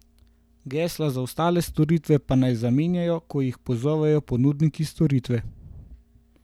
Gesla za ostale storitve pa naj zamenjajo, ko jih pozovejo ponudniki storitve.